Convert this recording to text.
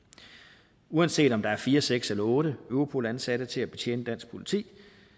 uanset om der er fire seks eller otte europol ansatte til at betjene dansk politi